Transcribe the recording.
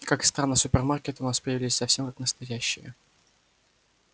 как странно супермаркеты у нас появились совсем как настоящие